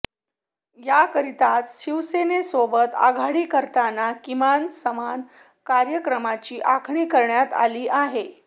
याकरिताच शिवसेनेसोबत आघाडी करताना किमान समान कार्यक्रमाची आखणी करण्यात आली आहे